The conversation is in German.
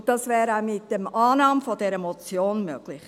Und das wäre auch mit der Annahme dieser Motion möglich.